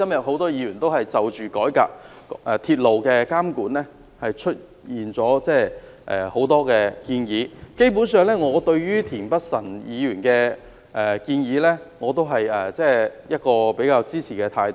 很多議員今天就改革鐵路監管提出了很多建議，對於田北辰議員的建議，我基本上支持。